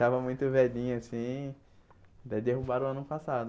Estava muito velhinha assim, daí derrubaram ano passado.